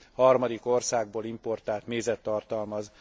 harmadik országból importált mézet tartalmaz.